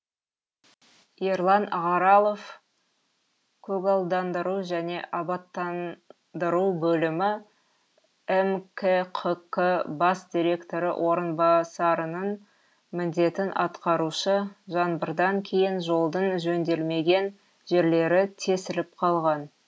ерлан ағаралов көгалдандыру және абаттандыру бөлімі мкқк бас директоры орынбасараның міндетін атқарушы жаңбырдан кейін жолдың жөнделмеген жерлері тесіліп қалған